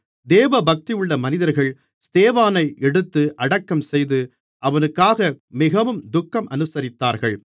தேவபக்தியுள்ள மனிதர்கள் ஸ்தேவானை எடுத்து அடக்கம்செய்து அவனுக்காக மிகவும் துக்கம் அனுசரித்தார்கள்